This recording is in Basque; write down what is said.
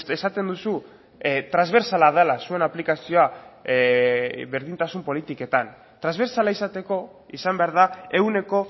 esaten duzu transbertsala dela zuen aplikazioa berdintasun politiketan transbertsala izateko izan behar da ehuneko